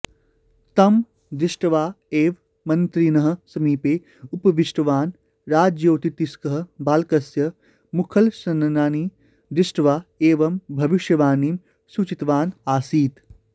तं दृष्ट्वा एव मन्त्रिणः समीपे उपविष्टवान् राजज्योतिष्कः बालकस्य मुखलक्षणानि दृष्ट्वा एवं भविष्यवाणीं सूचितवान् आसीत्